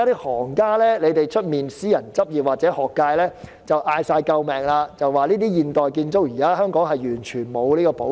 外間私人執業或學界的行家正大聲求救，指現時香港對現代建築完全沒有保育。